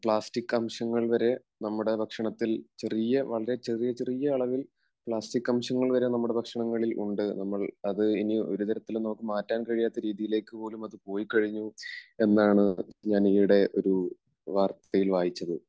Plastic അംശങ്ങൾ വരെ നമ്മുടെ ഭക്ഷണത്തിൽ ചെറിയ വളരെ ചെറിയ ചെറിയ അളവിൽ പ്ലാസ്റ്റിക് അംശങ്ങൾ വരെ നമ്മുടെ ഭക്ഷണങ്ങളിൽ ഉണ്ട്. നമ്മൾ അത് ഇനി ഒരുതരത്തിലും നമുക്ക് മാറ്റാൻ കഴിയാത്ത രീതിയിലേക്കുപോലും അത് പോയി കഴിഞ്ഞു എന്നാണ് ഞാൻ ഈയിടെ ഒരു വാർത്തയിൽ വായിച്ചത്.